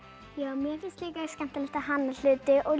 mér finnst líka skemmtilegt að hanna hluti og